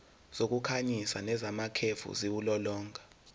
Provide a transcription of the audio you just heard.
zokukhanyisa nezamakhefu ziwulolonga